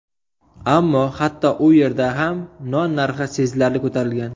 Ammo hatto u yerda ham non narxi sezilarli ko‘tarilgan.